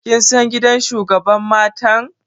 Kin san gidan shugabar matan?